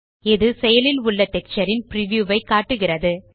இது செயலில் உள்ள டெக்ஸ்சர் ன் பிரிவ்யூ ஐ காட்டுகிறது